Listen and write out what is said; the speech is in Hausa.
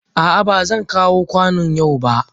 A'a, ba zan kawo kwanon yau ba.